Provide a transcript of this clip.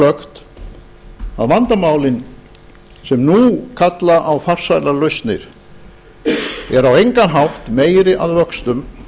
glöggt að vandamálin sem nú kalla á farsælar lausnir eru á engan hátt meiri að vöxtum